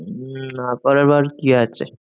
উম না করবার কি আছে?